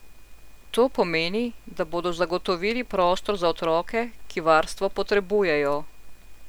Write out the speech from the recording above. To pomeni, da bodo zagotovili prostor za otroke, ki varstvo potrebujejo.